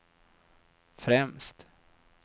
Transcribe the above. främst